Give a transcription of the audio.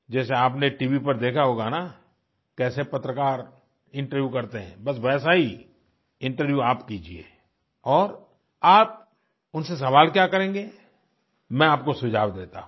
जैसे आपने टीवी पर देखा होगा ना कैसे पत्रकार इंटरव्यू करते हैं बस वैसा ही इंटरव्यू आप कीजिए और आप उनसे सवाल क्या करेंगे मैं आपको सुझाव देता हूँ